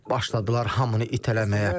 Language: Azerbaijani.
Başladılar hamını itələməyə.